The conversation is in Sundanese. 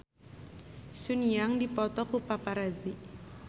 Sun Yang dipoto ku paparazi